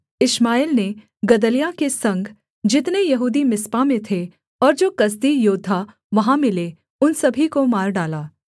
इश्माएल ने गदल्याह के संग जितने यहूदी मिस्पा में थे और जो कसदी योद्धा वहाँ मिले उन सभी को मार डाला